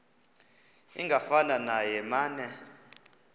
ingafana neye mane